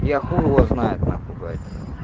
я хуй его знает нахуй блять